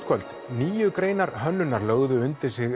kvöld níu greinar hönnunar lögðu undir sig